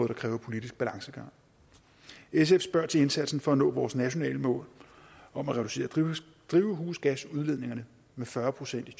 der kræver politisk balancegang sf spørger til indsatsen for at nå vores nationale mål om at reducere drivhusgasudledningerne med fyrre procent i